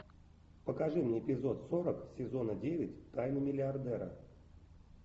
покажи мне эпизод сорок сезона девять тайны миллиардера